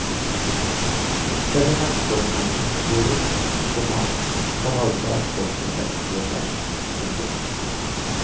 Selv om eksportmengden går opp, komma kan altså eksportinntektene gå ned. punktum